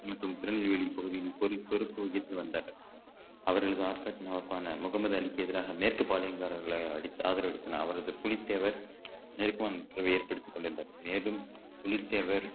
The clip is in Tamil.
மற்றும் திருநெல்வேலி பகுதியில் ஒலிபெருக்கு வகித்து வந்தார் அவர்கள் முகமது அலிக்கு எதிராக மேற்கு பாளையக்காரர்களை அளித்து ஆதரவு அளித்த அவரது புலித்தேவர் ஏற்படுத்திக் கொண்டிருந்தார் மேலும் புலித்தேவர்